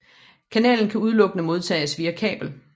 Kanalen kan udelukkende modtages via kabel